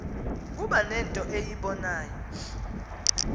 kuba nento eyibonayo